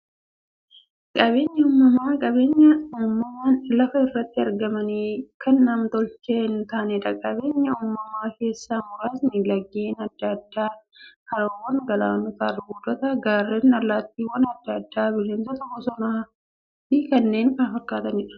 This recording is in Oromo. Qabeenyi uumamaa qabeenya uumamaan lafa irratti argamanii, kan nam-tolchee hintaaneedha. Qabeenya uumamaa keessaa muraasni; laggeen adda addaa, haroowwan, galaanota, albuudota, gaarreen, allattiiwwan adda addaa, bineensota bosonaa, bosonafi kanneen kana fakkataniidha.